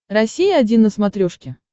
россия один на смотрешке